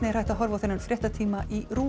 hægt er að horfa á þennan fréttatíma í RÚV